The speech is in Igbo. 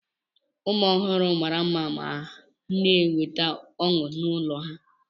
Ụmụ ọhụrụ mara mma ma na-eweta ọṅụ n'ụlọ ha.